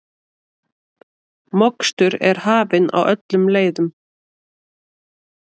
Mokstur er hafin á öllum leiðum